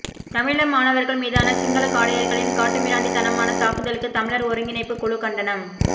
தமிழீழ மாணவர்கள் மீதான சிங்கள காடையர்களின் காட்டுமிராண்டித்தனமான தாக்குதலுக்கு தமிழர் ஒருங்கிணைப்புக் குழு கண்டனம்